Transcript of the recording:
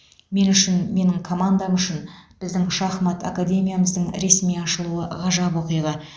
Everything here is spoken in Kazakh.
мен үшін менің командам үшін біздің шахмат академиямыздың ресми ашылуы ғажап оқиға